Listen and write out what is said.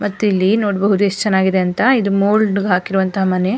ಮತ್ತೆ ಇಲ್ಲಿ ನೋಡಬಹುದು ಯೆಸ್ಟ್ ಚೆನ್ನಾಗಿದೆ ಅಂತ ಇದು ಮೊಲ್ಡ್ ಗೆ ಹಾಕಿರೋ ಅಂತಹ ಮನೆ.